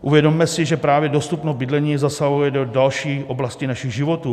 Uvědomme si, že právě dostupnost bydlení zasahuje do další oblasti našich životů.